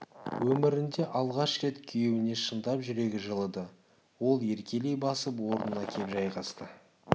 өмірінде алғаш рет күйеуіне шындап жүрегі жылыды ол еркелей басып орнына кеп жайғасты